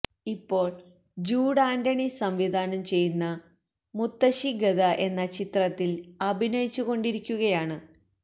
ഇപ്പോള് Jude Anthony സംവിധാനം ചെയ്യുന്ന മുത്തശ്ശി ഗദ എന്ന ചിത്രത്തില് അഭിനയിച്ചുക്കൊണ്ടിരിക്കുകയാണ്